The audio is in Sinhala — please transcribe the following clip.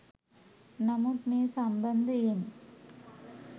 නමුත් මේ සම්බන්ධයෙන්